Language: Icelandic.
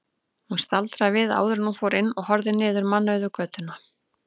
Hún staldraði við áður en hún fór inn og horfði niður mannauða götuna.